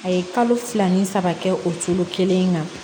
A ye kalo fila ni saba kɛ o foro kelen kan